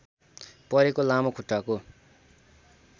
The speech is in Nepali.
परेको लामो खुट्टाको